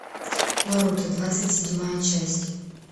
наруто двадцать седьмая часть